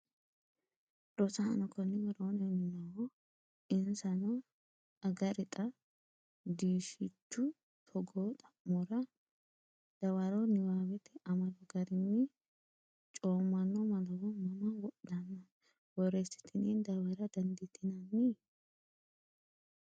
Rosaano, konni woroonni noo Insano, “Agarixa, diishshichu togo xa’mora dawaro niwaawete amado garinni coommanno malawo mama wodhanno?” borreessitine dawarre daanditinnani?